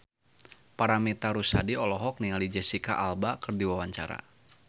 Paramitha Rusady olohok ningali Jesicca Alba keur diwawancara